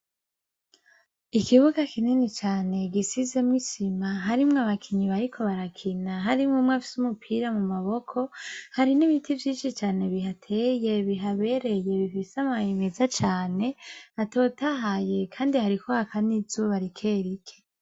Ikibuga kinini cane gisizemwo isima harimwo abakinyi bariko barakina harimwo umwe afisemwo umupira mumaboko hari nibiti vyinshi cane bihateye bihabereye bifise amababi meza cane atotahaye kandi hariko haka nizuba rikerike